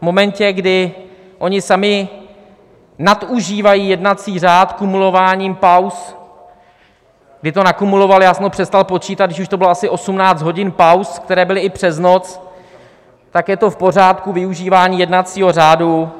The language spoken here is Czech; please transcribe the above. V momentě, kdy oni sami nadužívají jednací řád kumulováním pauz, kdy to nakumulovali, já jsem to přestal počítat, když už to bylo asi 18 hodin pauz, které byly i přes noc, tak je to v pořádku využívání jednacího řádu.